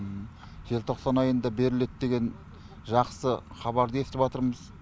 желтоқсан айында беріледі деген жақсы хабарды естіватырмыз